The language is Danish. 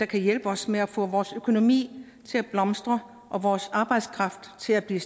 kan hjælpe os med at få vores økonomi til at blomstre og vores arbejdskraft til at blive